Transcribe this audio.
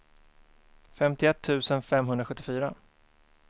femtioett tusen femhundrasjuttiofyra